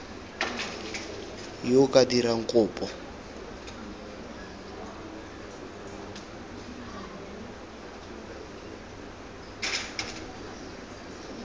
yo o ka dirang kopo